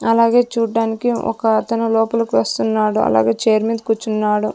అలాగే చూడ్డానికి ఒక అతను లోపలికి వస్తున్నాడు అలాగే చేర్ మీద కుచ్చున్నాడు.